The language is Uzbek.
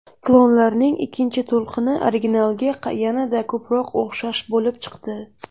Klonlarning ikkinchi to‘lqini originalga yanada ko‘proq o‘xshash bo‘lib chiqdi.